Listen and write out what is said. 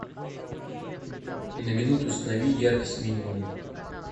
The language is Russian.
на минуту установи яркость минимум